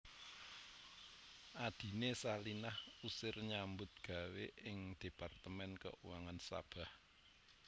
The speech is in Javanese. Adhiné Salinah Osir nyambut gawé ing Departemen Keuangan Sabah